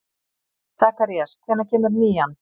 Sakarías, hvenær kemur nían?